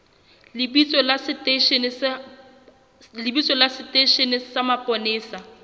lebitso la seteishene sa mapolesa